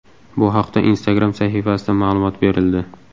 Bu haqda Instagram sahifasida ma’lumot berildi .